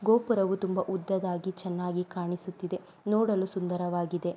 ಗೋಪುರವು ತುಂಬಾ ಉದ್ದದಾಗಿ ಚನ್ನಾಗಿ ಕಾಣಿಸುತ್ತಿದೆ ನೋಡಲು ಸುಂದರವಾಗಿದೆ.